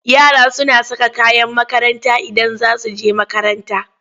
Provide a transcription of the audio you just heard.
Yara suna saka kayan makaranta Idan za su je makaranta.